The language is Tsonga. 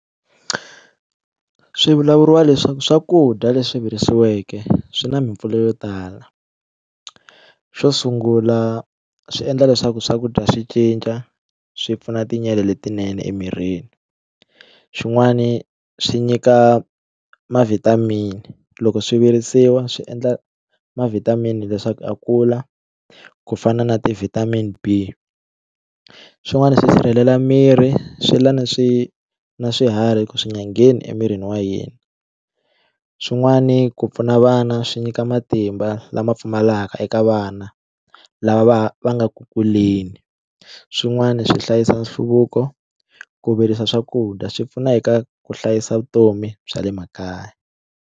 Swi vulavuriwa leswaku swakudya leswi virisiweke swi na mipfuno yo tala xo sungula swi endla leswaku swakudya swi cinca swi pfuna letinene emirini xin'wani swi nyika ma vitamin-i loko swi virisiwa swi endla ma vitamin-i leswaku a kula ku fana na ti vitamin b swin'wana swi sirhelela miri swi lwa ni swi na swiharhi ku swi nga ngheni emirini wa hina swin'wani ku pfuna vana swi nyika matimba lama pfumalaka eka vana lava va va nga ku kuleni swin'wani swi hlayisa nhluvuko ku virisa swakudya swi pfuna eka ku hlayisa vutomi bya le makaya.